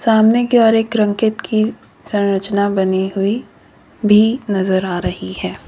सामने की ओर एक की संरचना बनी हुई भी नजर आ रही है।